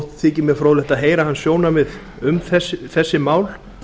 þykir mér fróðlegt að heyra hans sjónarmið um þessi mál